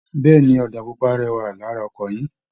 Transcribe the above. Bẹ́ẹ̀ ni, ọ̀dà pupa rẹwà lara ọkọ̀ yín